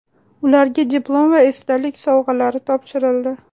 Ularga diplom va esdalik sovg‘alari topshirildi.